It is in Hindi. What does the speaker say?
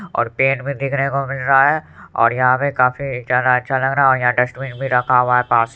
और पेन भी देखने को मिल रहा है और यहाँ पे काफी जाना अच्छा लग रहा है और यहाँ डस्टबिन भी रखा हुआ है पास---